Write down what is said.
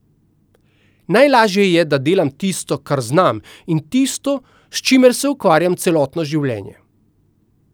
Najlažje je, da delam tisto, kar znam, in tisto, s čimer se ukvarjam celotno življenje.